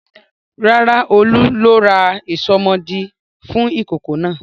Rárá, Olú ló ra ìsomọ́ọ̀dí fún ìkókó náà.